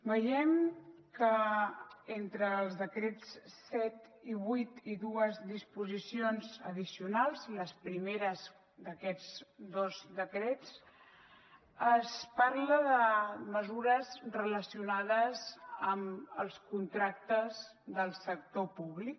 veiem que entre els decrets set i vuit i dues disposicions addicionals les primeres d’aquests dos decrets es parla de mesures relacionades amb els contractes del sector públic